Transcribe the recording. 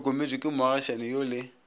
hlokometšwe ke moagišani yo le